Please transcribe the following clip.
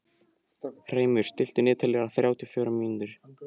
Hreimur, stilltu niðurteljara á þrjátíu og fjórar mínútur.